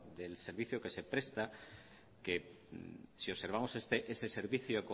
del servicio que se presta que si observamos ese servicio